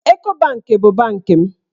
Eko banki bụ bankị m.